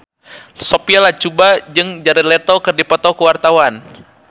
Sophia Latjuba jeung Jared Leto keur dipoto ku wartawan